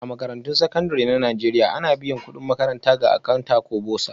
A Makarantun Sakandare na Najeriya, ana biyan kudin makaranta ga Akanta ko Bursar